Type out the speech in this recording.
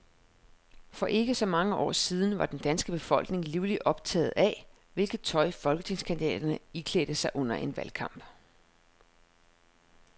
For ikke så mange år siden var den danske befolkning livligt optaget af, hvilket tøj folketingskandidaterne iklædte sig under en valgkamp.